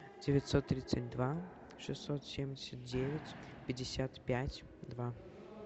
девятьсот тридцать два шестьсот семьдесят девять пятьдесят пять два